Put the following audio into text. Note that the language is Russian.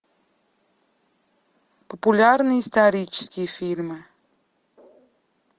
популярные исторические фильмы